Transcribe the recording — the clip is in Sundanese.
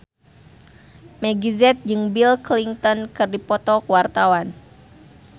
Meggie Z jeung Bill Clinton keur dipoto ku wartawan